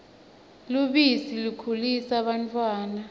lubisi likhulisa bantfwana